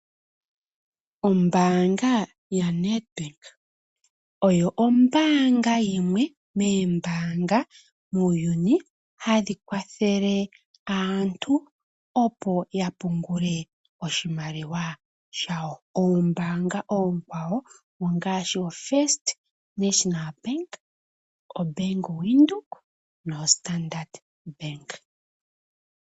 Ombaanga yaNEDBANK oyo ombaanga yimwe moombaanga muuyuni hadhi kwathele aantu, opo ya pungule oshimaliwa shwo. Oombaanga oonkwawo ongaashi oFirst National Bank, oBank Windhoek noStandard Bank.